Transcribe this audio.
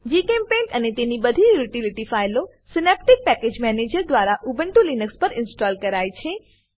જીચેમ્પેઇન્ટ અને તેની તેની બધી યુટીલીટી ફાઈલો સિનેપ્ટિક પેકેજ મેનેજર દ્વારા ઉબ્નટુ લીનક્સ પર ઇન્સ્ટોલ કરાય છે